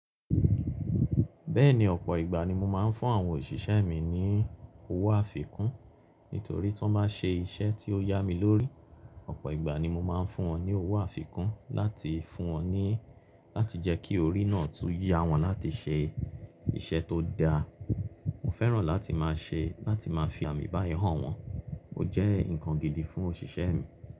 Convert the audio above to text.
Bẹ́ẹ̀ni ọ̀pọ̀ ìgbà ni mo máa ń fún àwọn òṣìṣẹ́ mi ní owó àfikún nítorí tí wọ́n bá se iṣẹ́ tí ó yá mi lórí, ọ̀pọ̀ ìgbà ni mo máa ń fún wọn ní owó àfikún láti fún wọn ní, láti jẹ́ kí orí náà tún yá wọn láti ṣe iṣẹ́ tó dáa. Mo fẹ́ràn láti máa ṣe, láti máa fi àmì báyo hàn wọ́n. Ó jẹ́ ǹkan gidi fún òṣìṣẹ́ mi.